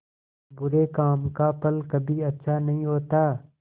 बुरे काम का फल कभी अच्छा नहीं होता